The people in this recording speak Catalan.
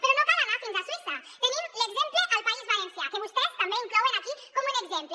però no cal anar fins a suïssa tenim l’exemple al país valencià que vostès també inclouen aquí com un exemple